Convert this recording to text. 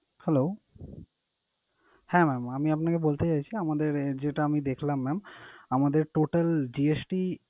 Hello? হ্যাঁ mam আমি আপনাকে বলতে চাইছি আমাদের যেটা আমি দেখলাম mam আমাদের total GST